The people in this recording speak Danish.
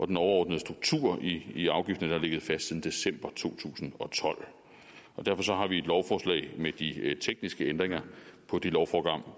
den overordnede struktur i afgiften har ligget fast siden december to tusind og tolv derfor har vi et lovforslag med de tekniske ændringer på det lovprogram